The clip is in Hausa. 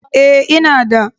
Ee, ina da.